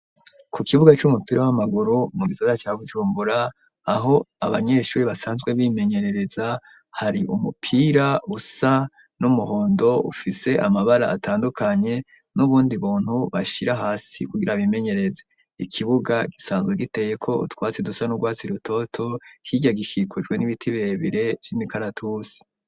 Ku kibuga c'umupira w'amaguru mu gisara ca bujumbura aho abanyeshuri basanzwe bimenyerereza hari umupira usa n'umuhondo ufise amabara atandukanye n'ubundi buntu bashira hasi kugira bimenyereze ikibuga gisanzwe giteyeko utwatsi dusa n'urwatsi rutoto kirya gika gikujwe n'ibiti bebire cimi kalatusi.